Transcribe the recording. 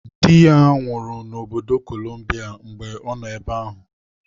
Dị ya nwụrụ n'obodo Kolumbia mgbe ọ nọ ebe ahụ.